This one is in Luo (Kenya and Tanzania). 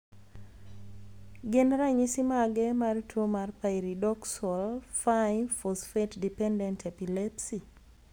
Gin ranyisi mage mar tuo mar Pyridoxal 5' phosphate dependent epilepsy?